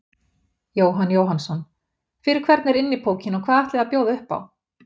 Jóhann Jóhannsson: Fyrir hvern er Innipúkinn og hvað ætlið þið að bjóða upp á?